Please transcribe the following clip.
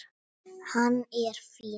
Hann er fínn.